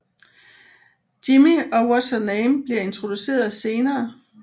Jimmy og Whatsername bliver introduceret senere